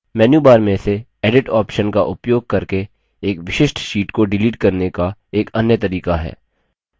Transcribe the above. menu bar से edit option का उपयोग करके एक विशिष्ट sheet को डिलीट करने का एक अन्य तरीका है